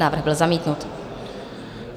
Návrh byl zamítnut.